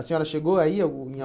A senhora chegou a ir em algum?